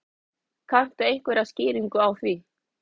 Kanntu einhverja skýringu á því?